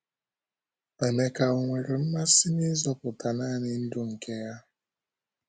Emeka ò nwere mmasị n’ịzọpụta nanị ndụ nke ya?